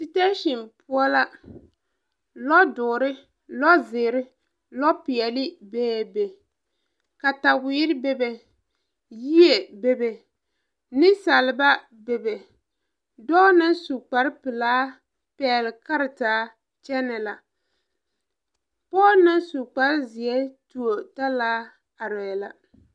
Setesen poɔ la lɔ doɔre , lɔ zeere lɔ, peɛɛli beebe kataweere bebe yie bebe neŋsaleba bebe dɔɔ na su kpare pilaa pɛgle karetaa kyɛnɛ la pɔɔ na su kpare zeɛ tuo talaa areɛɛ la.